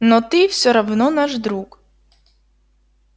но ты все равно наш друг